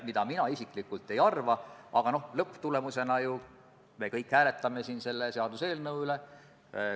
Kuna ma olen siin komisjoni ettekandjana, siis ma püüdsin teha küllaltki põhjaliku ülevaate muudatustest.